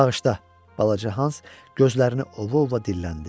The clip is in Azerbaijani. Bağışla, balaca Hans, gözlərini ova-ova dilləndi.